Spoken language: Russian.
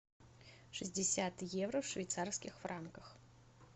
шестьдесят евро в швейцарских франках